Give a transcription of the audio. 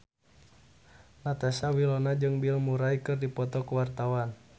Natasha Wilona jeung Bill Murray keur dipoto ku wartawan